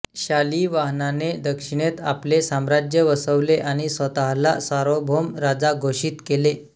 शालिवाहनाने दक्षिणेत आपले साम्राज्य वसवले आणि स्वतःला सार्वभौम राजा घोषित केले